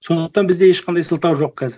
сондықтан бізде ешқандай сылтау жоқ қазір